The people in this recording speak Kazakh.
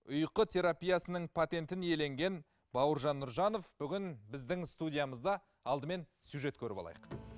ұйқы терапиясының патентін иеленген бауыржан нұржанов бүгін біздің студиямызда алдымен сюжет көріп алайық